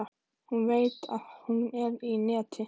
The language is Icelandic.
Hún veit að hún er í neti.